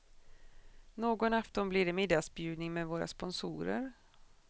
Någon afton blir det middagsbjudning med våra sponsorer.